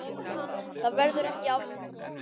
Það verður ekki afmáð.